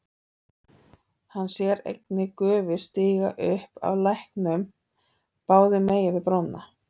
Hann sér einnig gufu stíga upp af læknum báðum megin við brúna.